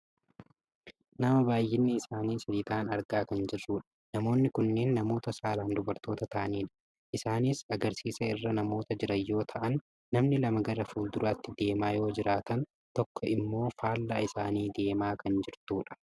nama baayyinni isaanii sadi ta'an argaa kan jirrudha. namoonni kunneen namoota saalaan dubartoota ta'anidha. isaanis agarsiisa irra namoota jiran yoo ta'am namni lama gara fuulduraatti deemaa yoo jiraatan tokko ammoo faallaa isaanii deemaa kan jirtudha.